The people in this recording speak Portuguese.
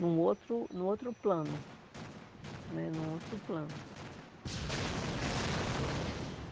num outro num outro plano né, num outro plano.